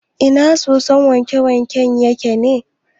Ina sosun wanke-wanken yake ne?